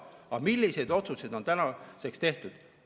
Aga milliseid otsuseid on tänaseks tehtud?